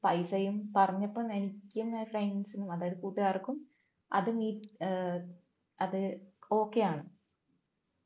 പൈസയും പറഞ്ഞപ്പോൾ എനിക്കും friends നും അതായത് കൂട്ടുകാർക്കും അത് മീ ഏർ അത് okay യാണ്